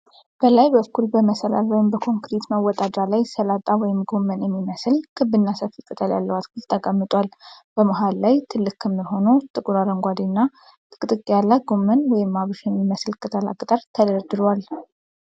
በላይ በኩል በመሰላል ወይም በኮንክሪት መወጣጫ ላይ ሰላጣ ወይም ጎመን የሚመስል ክብና ሰፊ ቅጠል ያለው አትክልት ተቀምጧል። በመሃል ላይ ትልቅ ክምር ሆኖ ጥቁር አረንጓዴና ጥቅጥቅ ያለ ጎመን ወይም አብሽ የሚመስል ቅጠላ ቅጠል ተደርድሯል።